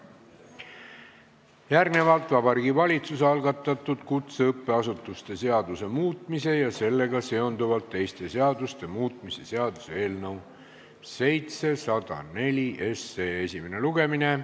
Järgnevalt Vabariigi Valitsuse algatatud kutseõppeasutuse seaduse muutmise ja sellega seonduvalt teiste seaduste muutmise seaduse eelnõu esimene lugemine.